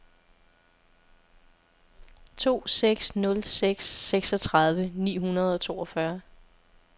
to seks nul seks seksogtredive ni hundrede og toogfyrre